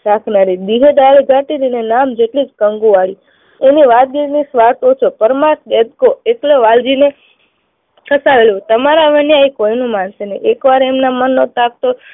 રાખનારી. બીજે દાડે જતી અને એનું નામ કંકુ વાળી એની વાત એટલી કે સ્વાર્થ ઓછો, પરમાર્થ એક્કો. એટલે વાલજીને તમારા માંથી કોઈનું માનશે નહી. એકવાર એમના મનનું